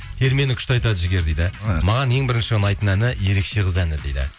термені күшті айтады жігер дейді маған ең бірінші ұнайтын әні ерекше қыз әні дейді